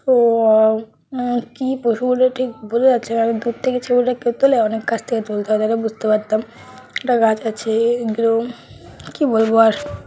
Wow ও কি পশু বটে ঠিক বোঝা যাচ্ছে না দূর থেকে ছবিটা কেউ তুলে অনেক কাছ থেকে তাই বুঝতে পারতাম একটা গাছ আছে একদম কি বলবো আর ।